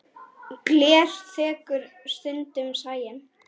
Gler þekur stundum sæinn.